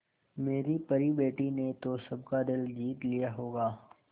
मेरी परी बेटी ने तो सबका दिल जीत लिया होगा